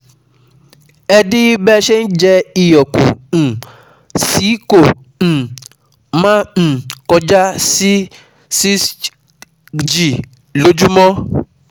Ẹ dín bẹ́ẹ ṣe ń jẹ iyọ̀ kù um sí kó um má um kọjá si six g lójúmọ́